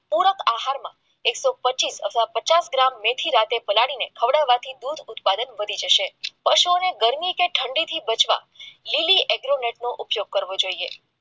પૂરબ આહારમાં એકસોપોચીસ અથવા પચાસ ગ્રામ મેથી રાત્રે પલાળી ખવડાવાથી દૂધનું ઉત્પાદન વધી જશે પશુઓને ગરમી કે ઠંડી બચવા લીલી એગ્રો નેટ નો ઉપયોગ કરવો જોઈએ